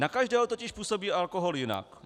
Na každého totiž působí alkohol jinak.